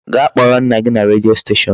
Gaa kpọrọ nna gị na redio station.